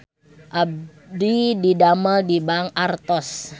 Abdi didamel di Bank Artos